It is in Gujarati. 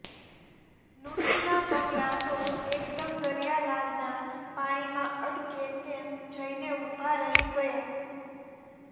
નુતુના પગલા તો એકદમ દરીયાલાલાના પાણીમાં અડકે તેમ જઈને ઉભા રહી ગયા